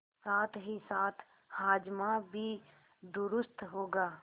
साथहीसाथ हाजमा भी दुरूस्त होगा